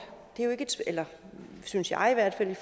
synes jeg i hvert fald i